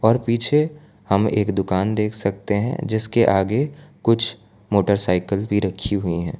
और पीछे हम एक दुकान देख सकते हैं जिसके आगे कुछ मोटरसाइकिल भी रखी हुई है।